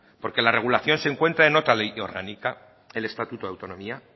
porque la regulación se encuentra en otra ley orgánica en el estatuto de autonomía